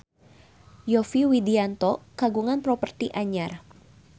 Yovie Widianto kagungan properti anyar